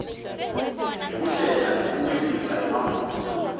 ngekuhlela nekubukisisa emaphutsa